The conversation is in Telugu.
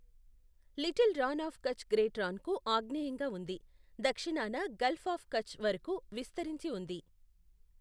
Little Rann of Kutch Great రాన్కు ఆగ్నేయంగా ఉంది, దక్షిణాన గల్ఫ్ ఆఫ్ కచ్ వరకు విస్తరించి ఉంది.